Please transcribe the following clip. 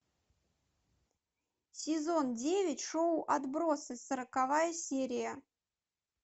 сезон девять шоу отбросы сороковая серия